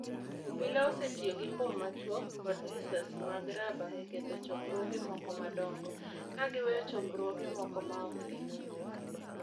obila osetiyo gi mbom machuok kod lisasi mag raba e ketho chokruoge moko madongo, ka giweyo chokruoge moko maok gimulo.